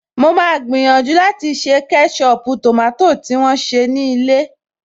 Mo máa gbìyànjú láti ṣe kẹ́ṣọpù tòmátò ti wón se ní ilé